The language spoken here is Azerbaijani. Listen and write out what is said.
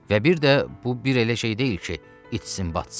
Və bir də bu bir elə şey deyil ki, itsin, batsın.